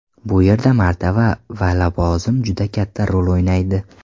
Bu yerda martaba va lavozim juda katta rol o‘ynaydi.